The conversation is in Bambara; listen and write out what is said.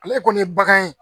Ale kɔni ye bagan ye